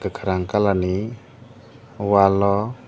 kokarang colour ni wall o.